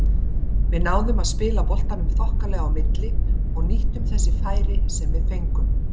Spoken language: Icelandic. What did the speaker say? Við náðum að spila boltanum þokkalega á milli og nýttum þessi færi sem við fengum.